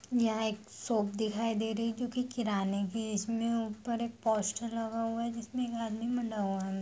यहाँ एक शॉप दिखाई दे रही है जो की किराने की है इसमें ऊपर एक पोस्टर लगा हुए हैं जिसमे एक आदमी बना हुआ है।